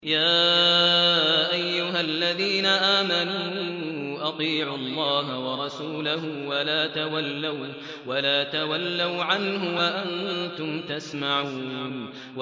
يَا أَيُّهَا الَّذِينَ آمَنُوا أَطِيعُوا اللَّهَ وَرَسُولَهُ وَلَا تَوَلَّوْا عَنْهُ وَأَنتُمْ تَسْمَعُونَ